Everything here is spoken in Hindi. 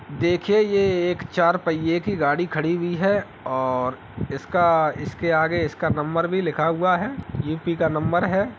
देखिए ये एक चार पहिये की गाड़ी खड़ी हुई हैऔर इसका इसके आगे इसका नंबर भी लिखा हुआ है यू.पी का नंबर है।